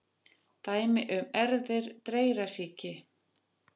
Dæmi um erfðir dreyrasýki: